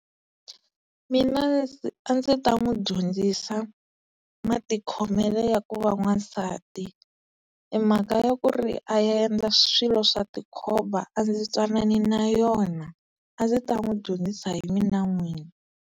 Mina a ndzi ta n'wi dyondzisa matikhomelo ya ku va n'wansati, e mhaka ya ku ri a ya endla swilo swa tikhomba a ndzi ntwanani na yona a ndzi ta n'wi dyondzisa hi mina n'wini.